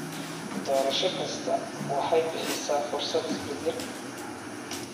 Doorasho kastaa waxay bixisaa fursad isbedel.